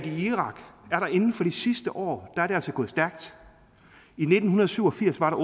i irak inden for de sidste år er gået stærkt i nitten syv og firs var